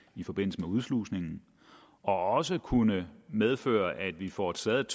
i forbindelse med udslusningen og som kunne medføre at vi får taget